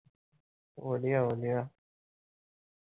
ਵਧੀਆ-ਵਧੀਆ ।